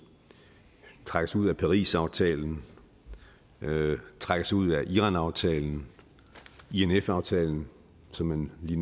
trækker sig ud af parisaftalen trækker sig ud af iranaftalen inf aftalen som man lige